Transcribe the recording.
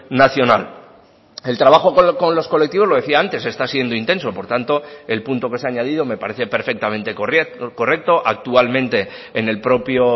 nacional el trabajo con los colectivos lo decía antes está siendo intenso por tanto el punto que se ha añadido me parece perfectamente correcto actualmente en el propio